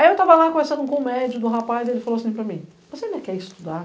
Aí eu tava lá conversando com o médio do rapaz e ele falou assim para mim, você ainda quer estudar?